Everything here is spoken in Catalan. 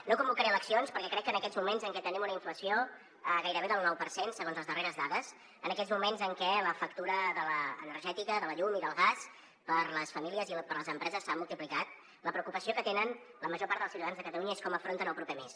no convocaré eleccions perquè crec que en aquests moments en què tenim una inflació gairebé del nou per cent segons les darreres dades en aquests moments en què la factura de l’energètica de la llum i del gas per a les famílies i per a les empreses s’ha multiplicat la preocupació que tenen la major part dels ciutadans de catalunya és com afronten el proper mes